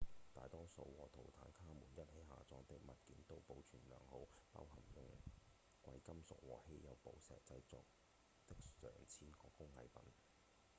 大多數和圖坦卡門一起下葬的物件都保存良好包含用貴金屬與稀有寶石製作的上千個工藝品